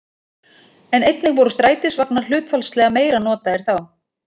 En einnig voru strætisvagnar hlutfallslega meira notaðir þá.